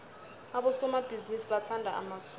abosomabhizinisi bathanda amasudu